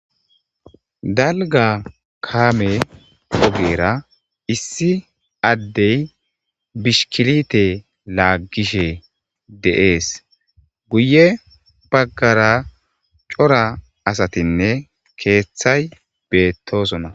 dalga kaame ogera issi addey bishkilite laaggishe deees guye baggara cora asatinne keeththay beettosona